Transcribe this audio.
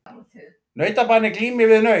Nautabani glímir við naut.